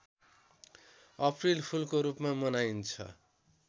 अप्रिलफुलको रूपमा मनाइन्छ